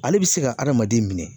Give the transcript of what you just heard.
Ale bi se ka adamaden minɛ